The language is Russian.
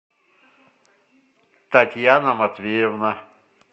татьяна матвеевна